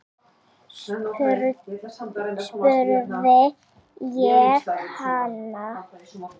spurði ég hana.